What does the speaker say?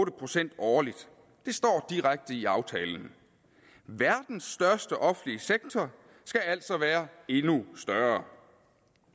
procent årligt det står direkte i aftalen verdens største offentlige sektor skal altså være endnu større